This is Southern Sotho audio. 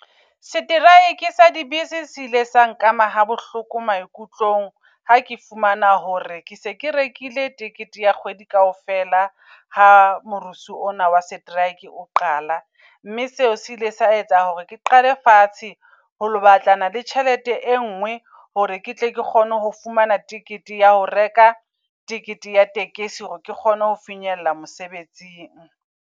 Strike-e sa di bese se ile sa nkama ha bohloko maikutlong. Ha ke fumana hore ke se ke rekile tekete ya kgwedi kaofela ha morusu ona wa setereke o qala. Mme seo se ile sa etsa hore ke qale fatshe ho lo batlana le tjhelete e ngwe. Hore ke tle ke kgone ho fumana ticket ya ho reka tikete ya tekesi, hore ke kgone ho finyella mosebetsing.